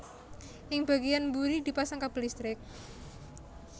Ing bagéyan mburi dipasang kabel listrik